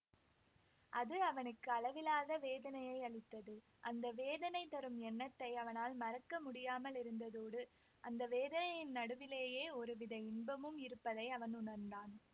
அது அவனுக்கு அளவிலாத வேதனையையளித்தது அந்த வேதனை தரும் எண்ணத்தை அவனால் மறக்க முடியாமலிருந்ததோடு அந்த வேதனையின் நடுவிலேயே ஒருவித இன்பமும் இருப்பதை அவன் உணர்ந்தான்